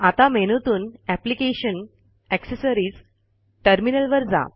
आता मेनूतून application gtaccessories गॅटरमिनल वर जा